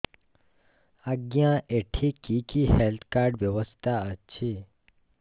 ଆଜ୍ଞା ଏଠି କି କି ହେଲ୍ଥ କାର୍ଡ ବ୍ୟବସ୍ଥା ଅଛି